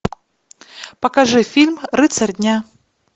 покажи фильм рыцарь дня